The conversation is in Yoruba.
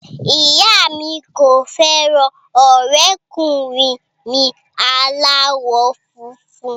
Ìyá mi kò fẹ́ràn ọ̀rẹ́kùnrin mi aláwọ̀ funfun